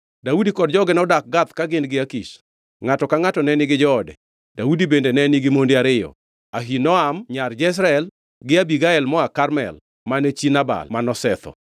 Daudi kod joge nodak Gath ka gin gi Akish. Ngʼato ka ngʼato ne nigi joode, Daudi bende ne nigi monde ariyo: Ahinoam ma nyar Jezreel gi Abigael moa Karmel mane chi Nabal manosetho.